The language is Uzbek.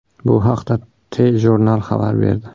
Bu haqda TJournal xabar berdi.